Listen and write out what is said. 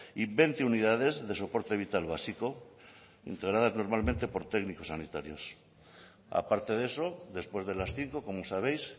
y veinte unidades de soporte vital básico integradas normalmente por técnicos sanitarios aparte de eso después de las cinco como sabéis